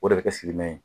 O de bɛ kɛ sigima ye